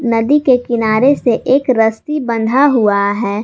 नदी के किनारे से एक रस्सी बंधा हुआ है।